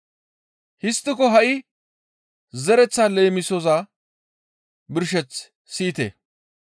«Histtiko ha7i zereththaa leemisoza birsheth siyite.